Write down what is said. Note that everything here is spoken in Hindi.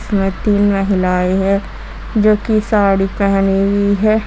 में तीन महिलाएं हैं जोकि साड़ी पहनी हुई है।